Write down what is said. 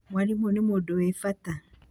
Mwarimũ nĩ mũndũ wĩ bata.